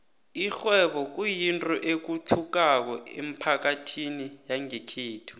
ikghwebo kuyinto ethuthukako emphakathini yangekhethu